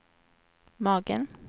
magen